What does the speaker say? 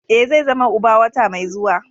Ee, zai zama uba wata mai zuwa.